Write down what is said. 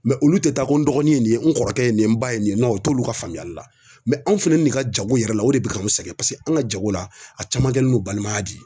Mɛ olu te taa ko n dɔgɔnin ye nin ye n kɔrɔkɛ ye nin ye n ba ye nin nɔn o t'olu ka faamuyali la mɛ anw fɛnɛ ni ne ka jago yɛrɛ la o de be k'an sɛgɛn paseke an ga jago la a caman kɛlen do balimaya de ye